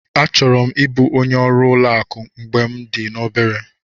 Achọrọ m ịbụ onye ọrụ ụlọ akụ mgbe m dị obere.